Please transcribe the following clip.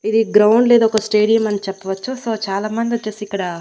ఇది గ్రౌండ్ లేదా ఒక స్టేడియం అని చెప్పవచ్చు సో చాలామంది వచ్చేసి ఇక్కడ.